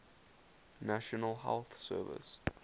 national health service